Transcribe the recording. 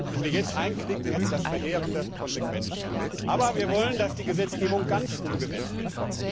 Wenn wir jetzt einknicken, hätte das verheerende Konsequenzen. Aber, Frau Kommissarin, wir wollen, dass die Gesetzgebung ganz umgesetzt wird!